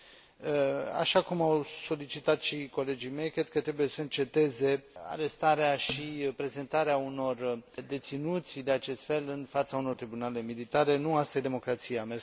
Așa cum au solicitat și colegii mei, cred că trebuie să înceteze arestarea și prezentarea unor deținuți de acest fel în fața unor tribunale militare. Nu asta este democrația.